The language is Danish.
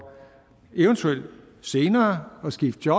eventuelt senere at skifte